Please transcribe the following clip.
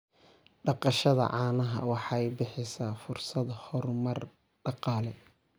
Dhaqashada caanaha waxay bixisaa fursado horumar dhaqaale.